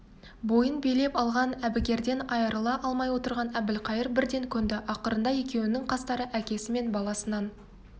бойын билеп алған әбігерден айырыла алмай отырған әбілқайыр бірден көнді ақырында екеуінің қастары әкесі мен баласынан